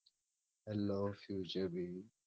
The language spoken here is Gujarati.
Hello futurebee